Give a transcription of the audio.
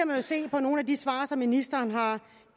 man se på nogle af de svar som ministeren har